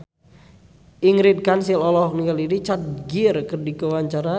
Ingrid Kansil olohok ningali Richard Gere keur diwawancara